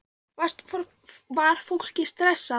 Var fólk stressað?